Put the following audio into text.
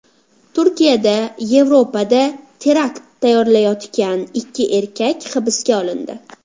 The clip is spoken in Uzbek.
Turkiyada Yevropada terakt tayyorlayotgan ikki erkak hibsga olindi.